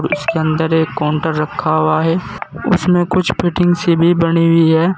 और इसके अंदर एक काउंटर रखा हुआ है उसमें कुछ फिटिंग से भी बनी हुई है।